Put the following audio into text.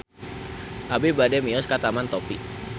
Abi bade mios ka Taman Topi